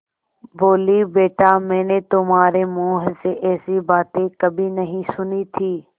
बोलीबेटा मैंने तुम्हारे मुँह से ऐसी बातें कभी नहीं सुनी थीं